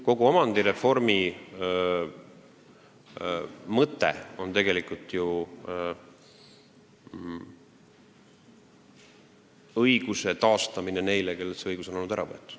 Kogu omandireformi mõte on tegelikult ju nende õiguse taastamine, kellelt see õigus on olnud ära võetud.